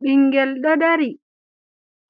Ɓinngel